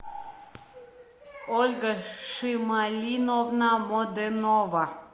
ольга шималиновна моденова